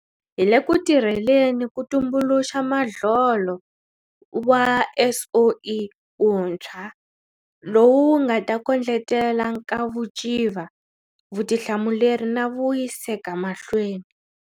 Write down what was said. Hi le ku tirheleni ku tumbuluxa modlolo wa SOE wuntshwa lowu wu nga ta kondletela nkavuciva, vutihlamuleri na vuyiseka mahlweni.